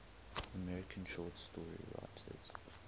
american short story writers